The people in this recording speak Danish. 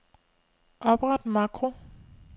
Opret makro.